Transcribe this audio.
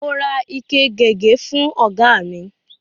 Mo ra ike gègé fú ọ̀gá mi.